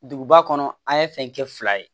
Duguba kɔnɔ an ye fɛn kɛ fila ye